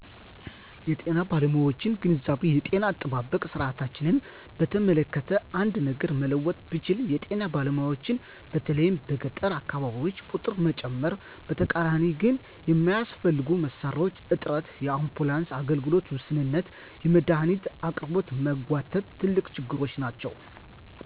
የጤና ባለሙያዎችን ግንዛቤ የጤና አጠባበቅ ስርዓታችንን በተመለከተ አንድ ነገር መለወጥ ብችል የጤና ባለሙያዎችን በተለይም በገጠር አካባቢዎች ቁጥር መጨመር። በተቃራኒው ግን የሚያስፈልጉ መሣሪያዎች እጥረት፣ የአምቡላንስ አገልግሎት ውስንነትና የመድሃኒት አቅርቦት መጓተት ትልቅ ችግሮች ናቸው።